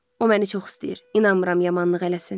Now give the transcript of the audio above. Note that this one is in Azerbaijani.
O məni çox istəyir, inanmıram yamanlıq eləsin.